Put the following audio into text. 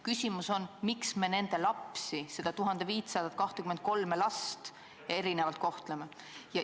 Küsimus on, miks me nende lapsi, neid 1523 last erinevalt kohtleme.